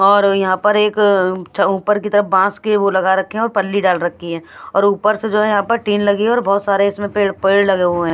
और यहाँ पर एक ऊपर की तरफ बांस के वो लगा रखे हैं और पल्ली डाल रखी है और ऊपर से जो है यहाँ पर टीन लगी है और बहुत सारे इसमें पेड़ पेड़ लगे हुए हैं।